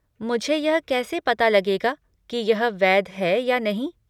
मुझे यह कैसे पता लगेगा कि यह वैध है या नहीं?